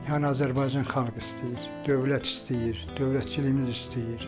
Yəni Azərbaycan xalqı istəyir, dövlət istəyir, dövlətçiliyimiz istəyir.